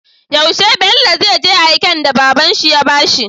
Yaushe Bello zai je aiken da babanshi ya bashi?